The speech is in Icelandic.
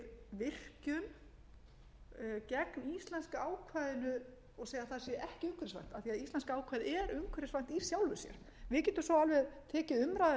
við virkjun gegn íslenska ákvæðinu og segja að það sé ekki umhverfisvænt af því að íslenska ákvæðið er umhverfisvænt i sjálfu sér við getum svo alveg tekið umræðuna á